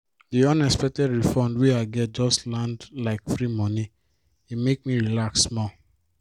di unexpected refund wey i get just land like free moni e make me relax small.